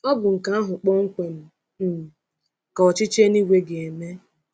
Ọ bụ nke ahụ kpọmkwem um ka ọchịchị eluigwe ga-eme.